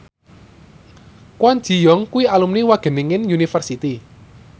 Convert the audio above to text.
Kwon Ji Yong kuwi alumni Wageningen University